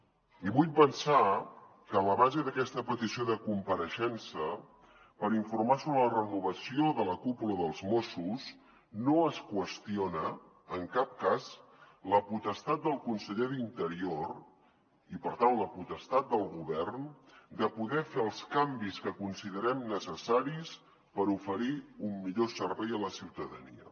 i vull pensar que en la base d’aquesta petició de compareixença per informar sobre la renovació de la cúpula dels mossos no es qüestiona en cap cas la potestat del conseller d’interior i per tant la potestat del govern de poder fer els canvis que considerem necessaris per oferir un millor servei a la ciutadania